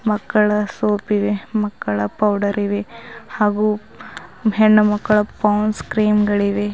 ಮಕ್ಕಳ ಸೋಪ್ ಇವೆ ಮಕ್ಕಳ ಪೌಡರ್ ಇವೆ ಹಾಗೂ ಹೆಣ್ಣು ಮಕ್ಕಳ ಪೌಂಡ್ಸ್ ಕ್ರೀಮ್ ಗಳಿವೆ.